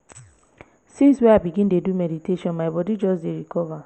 since wey i begin dey do meditation my bodi just dey recover.